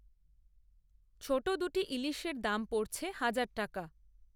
ছোট দু’টি ইলিশের দাম পড়ছে হাজার টাকা!